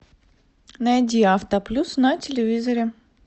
найди авто плюс на телевизоре